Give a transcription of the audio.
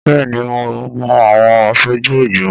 Bẹ́ẹ̀ ni, mo mọ àwọn aṣojú ìgbìmọ̀